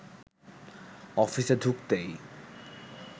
অফিসে ঢুকতেই